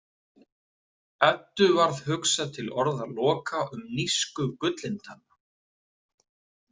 Eddu varð hugsað til orða Loka um nísku Gullintanna.